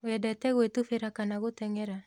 Wendete gwĩtubĩra kana gũteng'era ?